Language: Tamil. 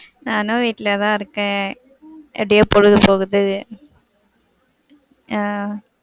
நானும் வீட்ல தான் இருக்கேன். எப்டியோ பொழுது போகுது, ஆஹ்